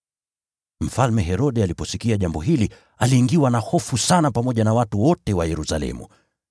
Mfalme Herode aliposikia jambo hili aliingiwa na hofu sana pamoja na watu wote wa Yerusalemu.